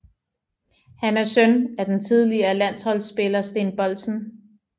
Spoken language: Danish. Han er søn af den tidligere landsholdsspiller Steen Boldsen